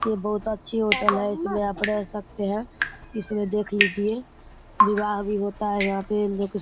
ये बहुत अच्छी होटल है। इसमें आप रह सकते है। इसमें देख लीजिये विवाह भी होता है। यहाँ पे --